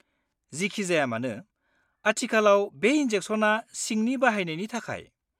जिखिजायामानो, आथिखालाव बे इन्जेक्शना सिंनि बाहायनायनि थाखाय।